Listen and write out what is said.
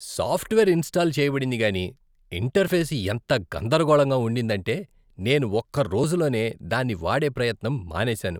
Software install చేయబడింది కానీ interface ఎంత గందరగోళంగా ఉండిందంటే నేను ఒక్క రోజులోనే దాన్ని వాడే ప్రయత్నం మానేసాను.